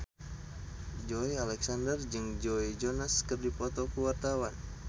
Joey Alexander jeung Joe Jonas keur dipoto ku wartawan